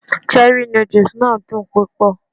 Cherrí nódùsì náà dùn púpọ̀